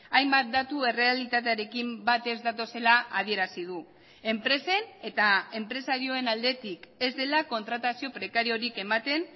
hainbat datu errealitatearekin bat ez datozela adierazi du enpresen eta enpresarioen aldetik ez dela kontratazio prekariorik ematen